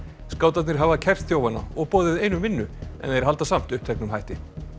skátarnir hafa kært þjófana og boðið einum vinnu en þeir halda samt uppteknum hætti